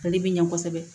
Ale bi ɲɛ kosɛbɛ